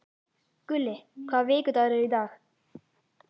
Gulli, hvaða vikudagur er í dag?